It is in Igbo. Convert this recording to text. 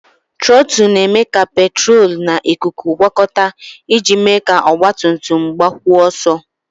Trọtụlụ na-eme ka petrolu na ikuku gwọkọta iji mee ka ọgbatumtum gbakwuo ọsọ.